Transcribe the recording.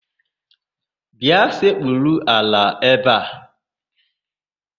Bịa sekpuru ala ebe a!